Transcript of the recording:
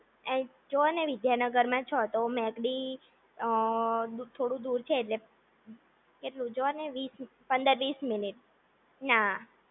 જોને તમે વિદ્યાનગરમાં છો તો મેકડી થોડું દૂર છે એટલે કેટલું જો ને વીસ પંદર વીસ મિનિટ ના